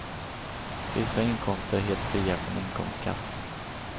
Vissa inkomster är helt fria från inkomstskatt.